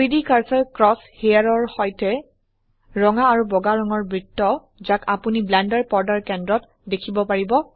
3ডি cursor cross হেয়াৰৰ সৈতে ৰঙা আৰু বগা ৰঙৰ বৃত্ত যাক আপোনি ব্লেন্ডাৰ পৰ্দাৰ কেন্দ্ৰত দেখিব পাৰিব